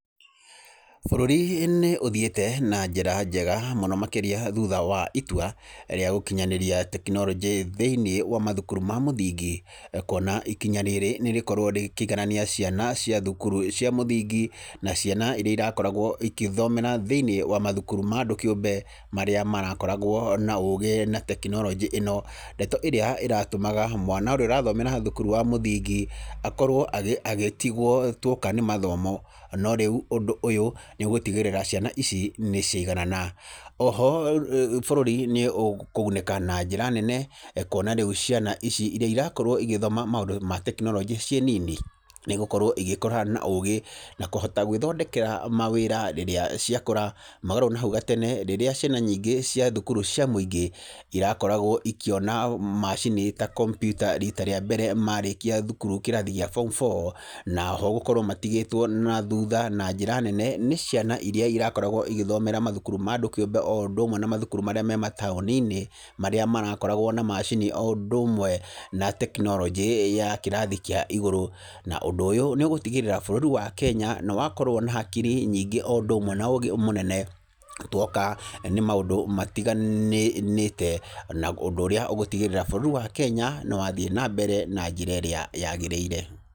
Bũrũri nĩũthiĩte na njĩra njega mũno makĩria thutha wa itua rĩa gũkinyanĩria tekinoronjĩ thĩiniĩ wa mathukuru ma mũthingi. Kuona ikinya rĩrĩ rĩkĩiganania ciana cia thukuru cia mũthingi na ciana irĩa ia irakoragwo igĩthomera thĩiniĩ wa mathukuru ma andũ kĩũmbe marĩa marakoragwo na ũgĩ na tekinoronjĩ ino ndeto ĩrĩa ĩratũmaga mwana ũrĩa ũrathomera thukuru wa mũthingi akorwo agĩtugwo twoka nĩ mathomo. Norĩu ũndũ ũyũ nĩ ũgũtigĩrĩra ciana ici nĩ ciaganana. Oho bũrũri nĩ ũkũgunĩka na njĩra nene kuona rĩu ciana ici irakorwo igĩthoma maũndũ ma tekinoronjĩ ciĩ nini, nĩigũkorwo igĩkũra na ũgĩ na kũhota gwĩthondekera mawĩra rĩrĩa cia kũra gũkĩra mũgarwo na hau gatene rĩrĩa ciana nyingĩ cia thukuru cia mũingĩ irakoragwo ikĩona macani ta komputa rita rĩa mbere marĩkia thukuru kĩrathi gĩa bomubo noho gũkora matigĩtwo na thutha na njĩra nene nĩ ciana iria irakoragwo igĩthomera mathukuru ma andũ kĩũmbe oũndũmwe na mathukuru marĩa me ma taũninĩ marĩa marakoragwo na macini na ũndũ ũmwe na tekinoronjĩ ya kĩrathi gĩa igũrũ na ũndũ ũyũ nĩ ũgũtigĩrĩra bũrũri wa Kenya nĩ wakorwo na hakiri nyingĩ na ũgĩ mũnene na twoka nĩ maũndũ matiganĩte na ũndũ ũrĩa gũtigĩrĩra bũrũri wa Kenya nĩ wathiĩ na mbere na njĩra ĩrĩa yagĩrĩire.